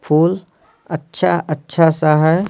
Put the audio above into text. फूल अच्छा अच्छा सा है।